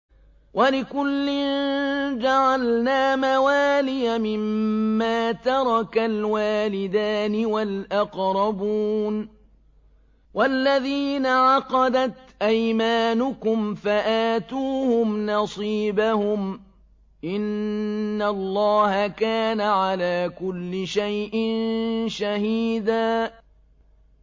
وَلِكُلٍّ جَعَلْنَا مَوَالِيَ مِمَّا تَرَكَ الْوَالِدَانِ وَالْأَقْرَبُونَ ۚ وَالَّذِينَ عَقَدَتْ أَيْمَانُكُمْ فَآتُوهُمْ نَصِيبَهُمْ ۚ إِنَّ اللَّهَ كَانَ عَلَىٰ كُلِّ شَيْءٍ شَهِيدًا